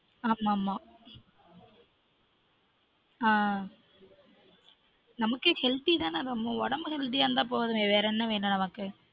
ஆமா ஆமா நமக்கு healthy தான நம்ம உடம்பு healthy யா இருந்தா போதுமே வேற என்ன வேணும் நமக்கு